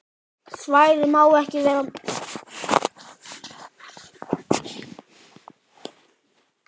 Svæðið má ekki við meiru.